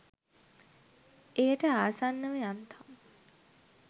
එයට ආසන්නව යන්තම්